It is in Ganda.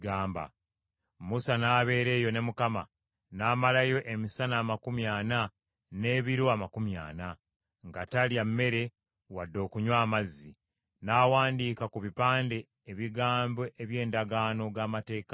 Musa n’abeera eyo ne Mukama , n’amalayo emisana amakumi ana n’ebiro amakumi ana, nga talya mmere wadde okunywa amazzi. N’awandiika ku bipande ebigambo eby’Endagaano, ge Mateeka Ekkumi.